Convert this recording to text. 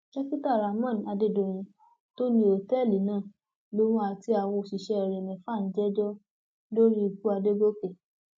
dókítà rahmon adédọyìn tó ní òtẹẹlì náà lòun àti àwọn òṣìṣẹ rẹ mẹfà ń jẹjọ lórí ikú àdògòkè